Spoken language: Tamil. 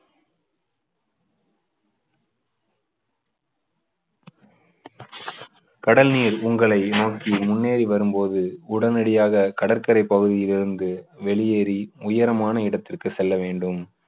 கடல் நீர் உங்களை நோக்கி முன்னேறி வரும் போது உடனடியாக கடற்கரை பகுதியில் இருந்து வெளியேறி உயரமான இடத்திற்கு செல்ல வேண்டும்